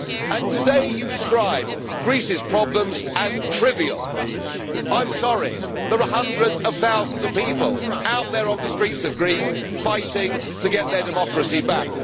And today you describe Greece's problems as trivial. I am sorry, there are hundreds of thousands of people out there on the streets of Greece fighting to get their democracy